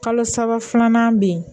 Kalo saba filanan bɛ yen